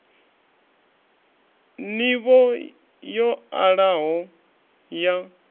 n ivho yo alaho ya